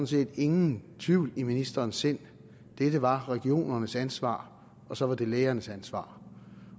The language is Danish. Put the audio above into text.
set ingen tvivl i ministerens sind dette var regionernes ansvar og så var det lægernes ansvar